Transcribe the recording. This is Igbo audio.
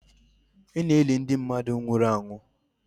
Ana eli mmadụ ndi nwụrụ anwụ